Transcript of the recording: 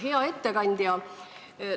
Hea ettekandja!